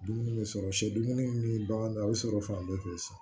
Dumuni bɛ sɔrɔ sɛ dumuni min ni bagan dɔ a bɛ sɔrɔ fan bɛɛ fɛ